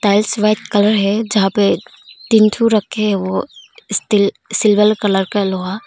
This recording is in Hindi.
टाइल्स वाइट कलर जहाँ पे तीन ठो रखे है स्टील सिल्वर कलर का लोहा--